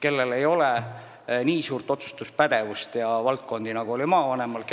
Tal ei ole nii suurt otsustuspädevust ega nii palju valdkondi, nagu oli maavanemal.